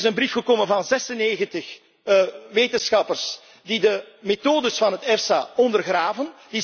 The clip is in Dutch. is. Er is een brief gekomen van 96 wetenschappers die de methodes van de EFSA ondergraven.